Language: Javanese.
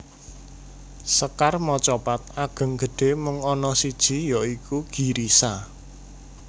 Sekar macapat Ageng gedhé mung ana siji ya iku Girisa